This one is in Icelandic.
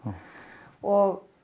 og